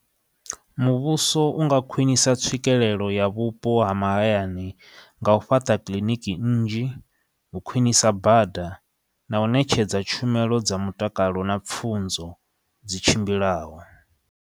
Muvhuso u nga khwinisa tswikelelo ya vhupo ha mahayani nga u fhaṱa kiḽiniki nnzhi u khwinisa bada na u ṋetshedza tshumelo dza mutakalo na pfunzo dzi tshimbilaho.